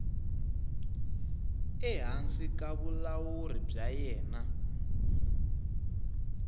ehansi ka vulawuri bya yena